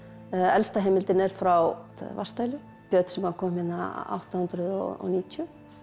elsta heimildin er frá vatnsdælu björn sem að kom hérna átta hundruð og níutíu